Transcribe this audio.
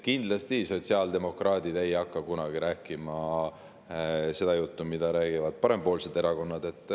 Kindlasti ei hakka sotsiaaldemokraadid kunagi rääkima seda juttu, mida räägivad parempoolsed erakonnad.